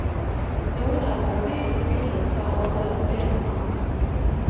Noen av melodiene til Beatles har overlevd bedre enn andre.